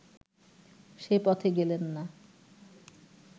সে পথে গেলেন না